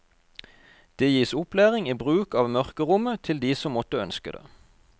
Det gis opplæring i bruk av mørkerommet til de som måtte ønske det.